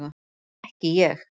En ekki ég.